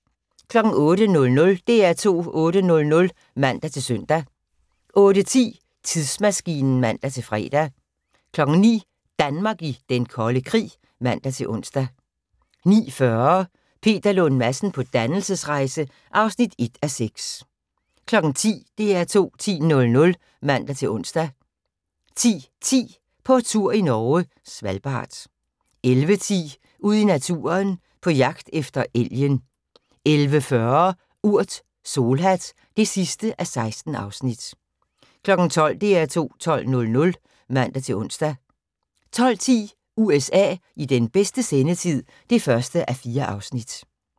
08:00: DR2 8:00 (man-søn) 08:10: Tidsmaskinen (man-fre) 09:00: Danmark i Den Kolde Krig (man-ons) 09:40: Peter Lund Madsen på dannelsesrejse (1:6) 10:00: DR2 10:00 (man-ons) 10:10: På tur i Norge: Svalbard 11:10: Ud i naturen: På jagt efter elgen 11:40: Urt: Solhat (16:16) 12:00: DR2 12:00 (man-ons) 12:10: USA i bedste sendetid (1:4)